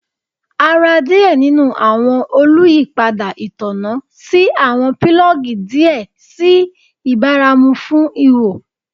A ra diẹ ninu awọn oluyipada itanna si awọn pilogi diẹ sii ibaramu fun iho